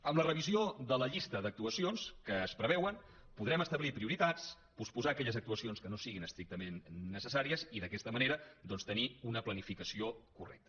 amb la revisió de la llista d’actuacions que es preveuen podrem establir prioritats posposar aquelles actuacions que no siguin estrictament necessàries i d’aquesta manera tenir una planificació correcta